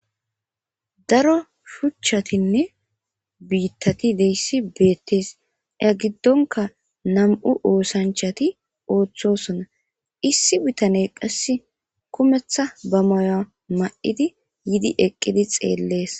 Daro shuchatinne biittati deyssi beetes ya giddonka na'mu oosanchati othosona issi bitane qasse kumetha ba moyo ma'idi yidi eqidi xeles